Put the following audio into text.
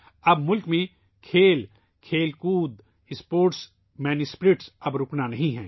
اب ملک میں کھیل ، کھیل کود ، اسپورٹس ، اسپورٹس مین اسپرٹ اب رکنی نہیں ہے